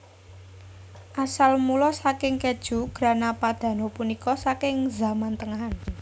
Asal mula saking kèju Grana Padano punika saking zaman tengahan